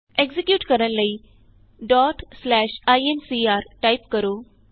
execute ਕਰਨ ਲਈ incr type ਕਰੋ